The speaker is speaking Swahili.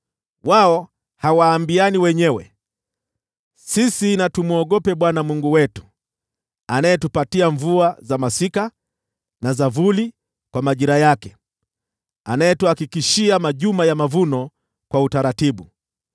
Wao hawaambiani wenyewe, ‘Sisi na tumwogope Bwana Mungu wetu, anayetupatia mvua za masika na za vuli kwa majira yake, anayetuhakikishia majuma ya mavuno kwa utaratibu.’